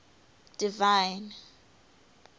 divine